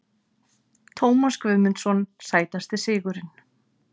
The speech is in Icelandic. Tómas Guðmundsson Sætasti sigurinn?